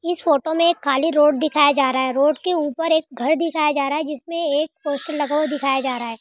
इस फोटो मे एक खाली रोड दिखाया जा रहा है रोड के ऊपर एक घर दिखाया जा रहा है जिसमे एक पोस्टर लगा हुआ दिखाया जा रहा है।